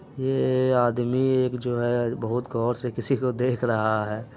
ये आदमी एक जो है बहुत गोर से किसी को देख रहा है।